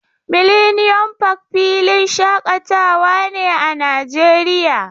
Millennium park filin shaƙatawa ne a Najeriya.